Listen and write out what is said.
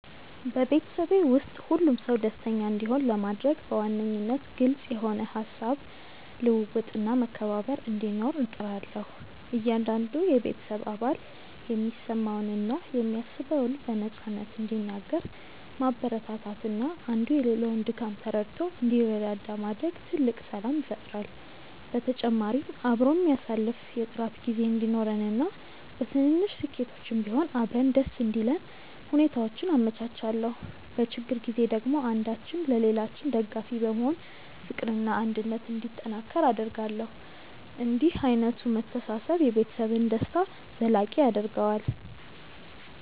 በቤተሰቤ ውስጥ ሁሉም ሰው ደስተኛ እንዲሆን ለማድረግ በዋነኝነት ግልጽ የሆነ የሃሳብ ልውውጥና መከባበር እንዲኖር እጥራለሁ። እያንዳንዱ የቤተሰብ አባል የሚሰማውንና የሚያስበውን በነፃነት እንዲናገር ማበረታታትና አንዱ የሌላውን ድካም ተረድቶ እንዲረዳዳ ማድረግ ትልቅ ሰላም ይፈጥራል። በተጨማሪም አብሮ የሚያሳልፍ የጥራት ጊዜ እንዲኖረንና በትንንሽ ስኬቶችም ቢሆን አብረን ደስ እንዲለን ሁኔታዎችን አመቻቻለሁ። በችግር ጊዜ ደግሞ አንዳችን ለሌላችን ደጋፊ በመሆን ፍቅርና አንድነት እንዲጠናከር አደርጋለሁ። እንዲህ ዓይነቱ መተሳሰብ የቤተሰብን ደስታ ዘላቂ ያደርገዋል።